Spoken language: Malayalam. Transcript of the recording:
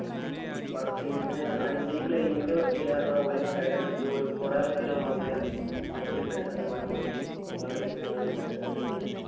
വക്കീലിനെ അതിന്റെ ഈ claim ന്റെ വക്കീൽ കാരണം ഓര് ഇങ്ങോട്ട് തന്നെ വിളിച്ചിട്ട് ഓര് കൊറേ ആൾക്കാർ നമ്മക്ക് ഇങ്ങനെ വിളിച്ച്. ഞങ്ങൾക്ക് ഇത്ര ശതമാനം മതി. നിങ്ങടെ കേസ് ഞങ്ങൾ എടുക്കട്ടേ എന്ന് ചോയ്ച്ച്.